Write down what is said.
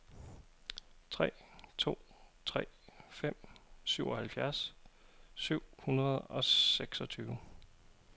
tre to tre fem syvoghalvfjerds syv hundrede og seksogtyve